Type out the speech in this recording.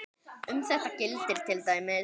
Um þetta gildir til dæmis